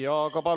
Jaa, aga palun!